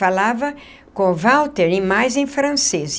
Falava com o Walter e mais em francês.